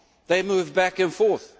They move back and forth.